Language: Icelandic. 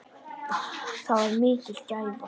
Það var mikil gæfa.